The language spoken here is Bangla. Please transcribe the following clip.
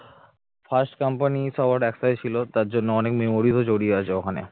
first company সবার একটাই ছিল তার জন্য অনেক memories জড়িয়ে আছে ওখানে